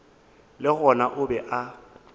le gona o be a